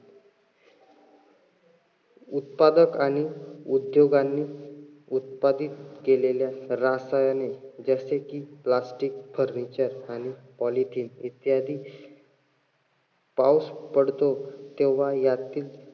उत्पादक आणि उद्योगांनी उत्पादित केलेल्या रासायनिक जसे कि Plastic furniture आणि Polythin इत्यादी. पाऊस पडतो तेव्हा यातील